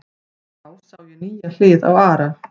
Þá sá ég nýja hlið á Ara.